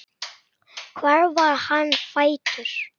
Hvar var hann fæddur?